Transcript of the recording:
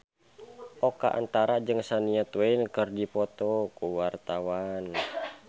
Oka Antara jeung Shania Twain keur dipoto ku wartawan